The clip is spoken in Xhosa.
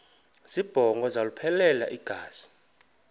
zibongo zazlphllmela engazi